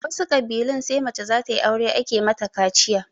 A wasu ƙabilun sai mace zatayi aure ake mata kaciya